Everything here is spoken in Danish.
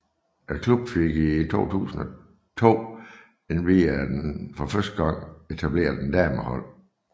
Klubben fik i 2002 endvidere for første gang etableret et damehold